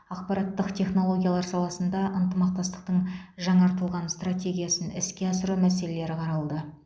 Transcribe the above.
ақпараттық технологиялар саласында ынтымақтастықтың жаңартылған стратегиясын іске асыру мәселелері қаралды